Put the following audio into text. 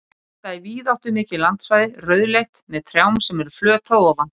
Þetta er víðáttumikið landsvæði, rauðleitt, með trjám sem eru flöt að ofan.